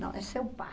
Não, é seu pai.